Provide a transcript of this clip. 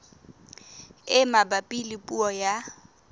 e mabapi le puo ya